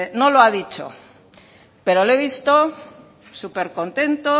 no lo ha dicho pero le he visto súper contento